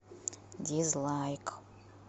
дизлайк